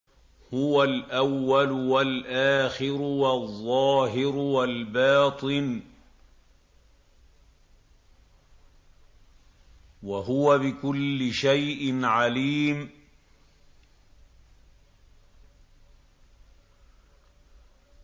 هُوَ الْأَوَّلُ وَالْآخِرُ وَالظَّاهِرُ وَالْبَاطِنُ ۖ وَهُوَ بِكُلِّ شَيْءٍ عَلِيمٌ